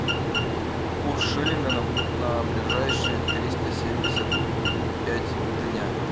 курс шиллинга на ближайшие триста семьдесят пять дня